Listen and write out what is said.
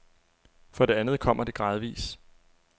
For det andet kommer det gradvis.